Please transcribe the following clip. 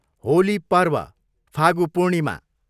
होली पर्व, फागु पूर्णिमा